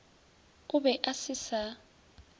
o be a se sa